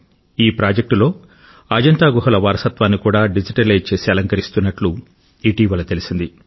ఈ ప్రాజెక్టులో అజంతా గుహల వారసత్వాన్ని కూడా డిజిటలైజ్ చేసి అలంకరిస్తున్నట్లు ఇటీవల తెలిసింది